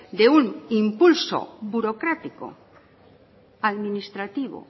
de un impulso burocrático administrativo